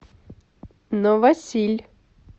новосиль